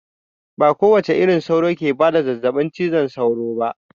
Ba kowace irin sauro take bada zazzaɓin cizon sauro ba